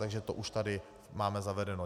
Takže to už tady máme zavedeno.